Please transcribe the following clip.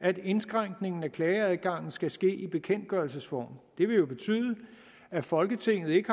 at indskrænkningen af klageadgangen skal ske i bekendtgørelsesform det vil jo betyde at folketinget ikke